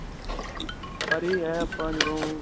ਪਰ ਇਹ ਹੈ ਆਪਾਂ ਜਦੋਂ.